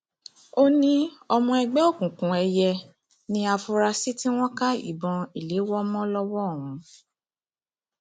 ó ní ọmọ ẹgbẹ òkùnkùn èiye ní àfúrásì tí wọn ká ìbọn ìléwọ mọ lọwọ ọhún